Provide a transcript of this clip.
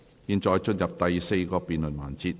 現在進入第四個辯論環節。